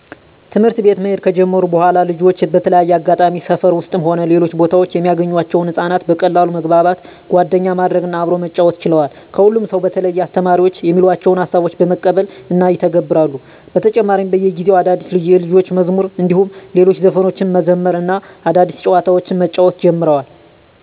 ትምህርት ቤት መሄድ ከጀመሩ በኃላልጆች በተለያየ አጋጣሚ ሰፈር ውስጥም ሆነ ሌሎች ቦታወች የሚያገኟቸውን ህፃናት በቀላሉ መግባባት፣ ጓደኛ ማድረግ እና አብሮ መጫወት ችለዋል። ከሁሉም ሰው በተለየ አስተማሪዎች የሚሏቸውን ሀሳቦች በመቀበል እና ይተገብራሉ። በተጨማሪም በየጊዜው አዳዲስ የልጆች መዝሙር እንዲሁም ሌሎች ዘፈኖችን መዘመር እና አዳዲስ ጨዋታዎችን መጫወት ጀምረዋል።